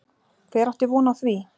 Hver átti von á því?